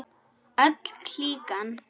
Öll klíkan.